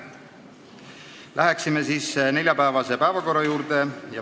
Läheme neljapäevase päevakorra juurde.